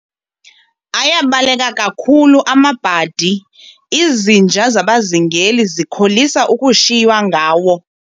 Ayabaleka kakhulu amabhadi, izinja zabazingeli zikholisa ukushiywa ngawo.